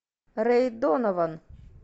рэй донаван